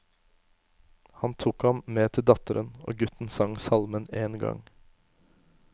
Han tok ham med til datteren, og gutten sang salmen én gang.